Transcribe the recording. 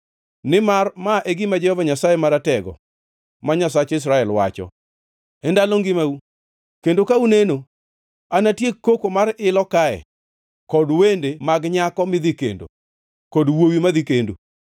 Nimar ma e gima Jehova Nyasaye Maratego, ma Nyasach Israel, wacho: E ndalo ngimau kendo ka uneno anatiek koko mar ilo kae kod wende mag nyako midhi kendi kod wuowi madhi kendo.